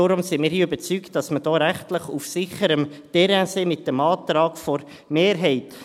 Deshalb sind wir überzeugt, dass wir hier rechtlich auf sicherem Terrain sind mit dem Antrag der Mehrheit.